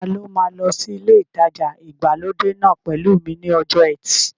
Ta ló máa lọ sí ilé ìtajà ìgbàlódé náà pẹ̀lú mi ní ọjọ́ ẹtì